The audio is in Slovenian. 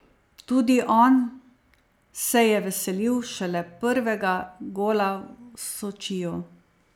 Tudi on se je veselil šele prvega gola v Sočiju.